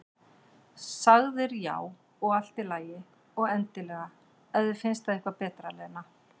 Sagðir já, og allt í lagi, og endilega, ef þér finnst það eitthvað betra, Lena.